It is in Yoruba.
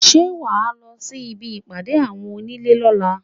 Ṣé wà á lọ sí ibi ìpàdé àwọn onílé lọ́la?